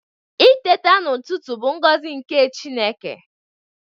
Iteta n'ututu bu ngozi nke Chineke